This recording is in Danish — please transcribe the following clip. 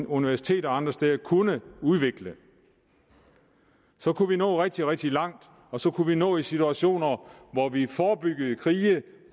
universiteter og andre steder kunne udvikle så kunne vi nå rigtig rigtig langt og så kunne vi nå en situation hvor vi forebygger krige